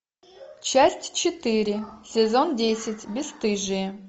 часть четыре сезон десять бесстыжие